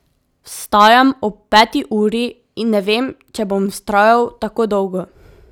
Vstajam ob peti uri in ne vem, če bom vztrajal tako dolgo.